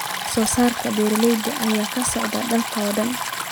Wax-soo-saarka beeraha ayaa ka socda dalka oo dhan.